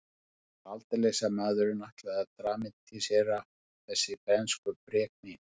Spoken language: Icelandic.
Það var aldeilis að maðurinn ætlaði að dramatísera þessi bernskubrek mín.